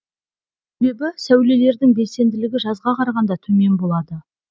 себебі сәулелердің белсенділігі жазға қарағанда төмен болады